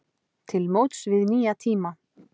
Til móts við nýja tíma